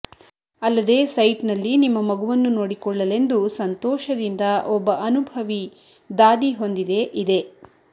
ಅಲ್ಲದೆ ಸೈಟ್ನಲ್ಲಿ ನಿಮ್ಮ ಮಗುವನ್ನು ನೋಡಿಕೊಳ್ಳಲೆಂದು ಸಂತೋಷದಿಂದ ಒಬ್ಬ ಅನುಭವಿ ದಾದಿ ಹೊಂದಿದೆ ಇದೆ